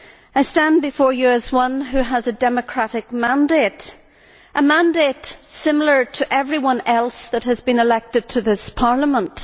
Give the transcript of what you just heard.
I stand before you as one who has a democratic mandate a mandate similar to that held by everyone else that has been elected to this Parliament.